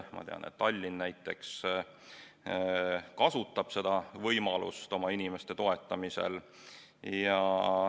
Ma tean, et näiteks Tallinn kasutab seda võimalust oma inimeste toetamiseks.